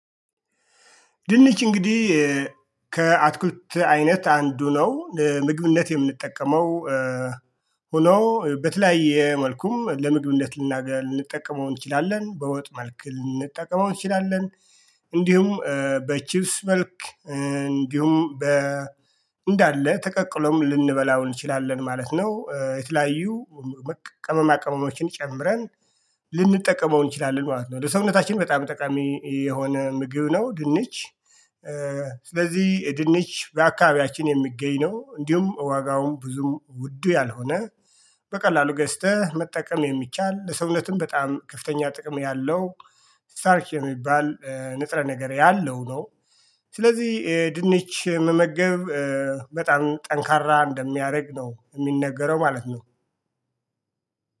ድንች እንግዲህ ከአትክልት አይነት አንዱ ነው ለምግብነት የምንጠቀመው ሆኖ በተለያየ መልኩም ለምግብነት ልናገኝ ልንጠቀመው እንችላለን በወጥ መልክ ልንጠቀመው እንችላለን። እንዲሁም በቺፕስ መልክ እንዲሁም በ እንዳለ ተቀቅሎም ልንበላው እንችላለን ማለት ነው። የተለያዩ ቀመማ ቅመሞችን ጨምረን ልንጠቀመው እንችላለን ማለት ነው። ለሰውነታችን በጣም ጠቃሚ የሆነ ምግብ ነው ድንች። ስለዚህ ድንች በአካባቢያችን የሚገኝ ነው እንዲሁም ዋጋውን ብዙም ውዱ ያልሆነ በቀላሉ ገዝተህ መጠቀም የሚቻል ለሰውነትም በጣም ከፍተኛ ጥቅም ያለው ሳርክ የሚባል ንጽረ ነገር ያለው ነው። ስለዚህ ድንች መመገብ በጣም ጠንካራ እንደሚያደርግ ነው የሚነገረው ማለት ነው